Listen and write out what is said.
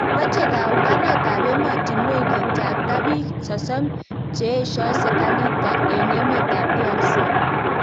Mache kaunganet ab emotinwek kityakta biik sosom che esion sirkalit en emet ab DRC